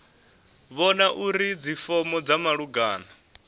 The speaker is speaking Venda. vhona uri dzifomo dza malugana